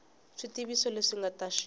swivutiso leswi nga ta xi